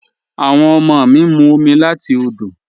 Awọn ọmọ mi ń mú omi láti òdò